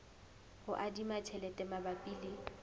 ho adima tjhelete mabapi le